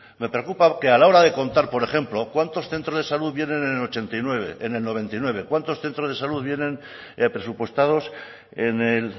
me preocupa que a la hora de contar por ejemplo cuántos centros de salud vienen en el ochenta y nueve en el noventa y nueve cuántos centros de salud vienen presupuestados en el